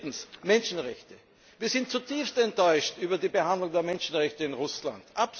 Drittens Menschenrechte Wir sind zutiefst enttäuscht über die Behandlung der Menschenrechte in Russland.